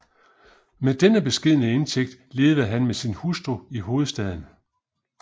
Med denne beskedne indtægt levede han med sin hustru i hovedstaden